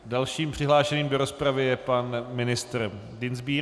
Dalším přihlášeným do rozpravy je pan ministr Dienstbier.